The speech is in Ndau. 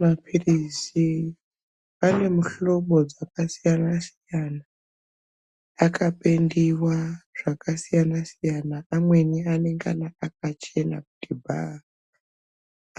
Maphilizi anemuhlobo dzakasiyana-siyana akapendiwa zvakasiyana-siyana. Amweni anengana akachena kuti bha.